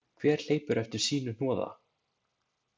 Hver hleypur eftir sínu hnoða.